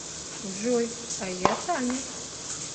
джой а я таня